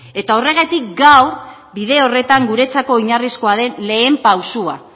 eta horregatik gaur bide horretan guretzako oinarrizkoa den lehen pausua